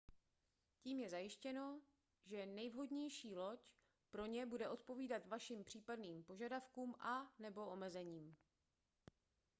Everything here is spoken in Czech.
tím je zajištěno že nejvhodnější loď pro ně bude odpovídat vašim případným požadavkům a/nebo omezením